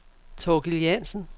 Thorkild Jansen